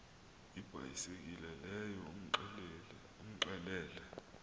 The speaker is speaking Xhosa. ibhayisekile leyo umxelele